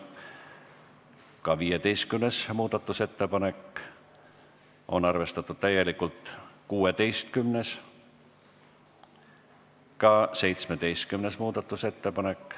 Ka 15. muudatusettepanek on arvestatud täielikult ning 16. ja 17. muudatusettepanek.